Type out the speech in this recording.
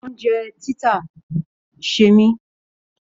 Oúnjẹ títà niṣẹ́ mi.